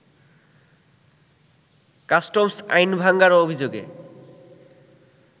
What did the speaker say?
customs আইন ভাঙ্গার অভিযোগে